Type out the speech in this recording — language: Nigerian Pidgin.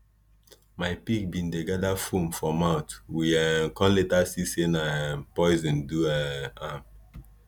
my pig been dey gather foam for mouth we um come later see say na um poison do um am